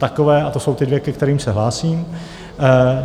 Takové, a to jsou ty dvě, ke kterým se hlásím.